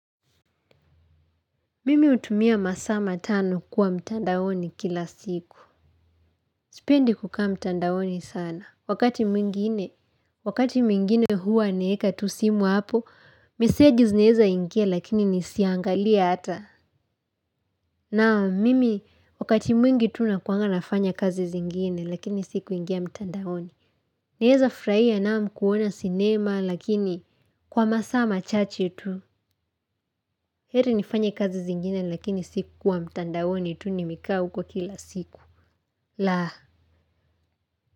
Mimi hutumia masaa matano kuwa mtandaoni kila siku. Sipendi kukaa mtandaoni sana. Wakati mwingine, wakati mwingine huwa naweka tu simu hapo, meseji zinaweza ingia lakini nisiangalie hata. Naam, mimi, wakati mwingi tu nakuwanga nafanya kazi zingine lakini si kuingia mtandaoni. Naweza kufurahia naam kuona sinema lakini kwa masaa machache tu. Heri nifanye kazi zingine lakini si kuwa mtandaoni tu nimekaa huko kila siku. La!